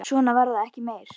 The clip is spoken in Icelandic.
Svo var það ekki meir.